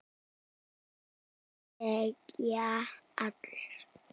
Hér þegja allir.